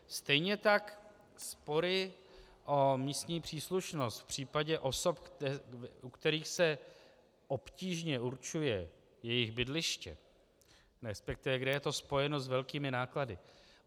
Stejně tak spory o místní příslušnost v případě osob, u kterých se obtížně určuje jejich bydliště, respektive kde je to spojeno s velkými náklady.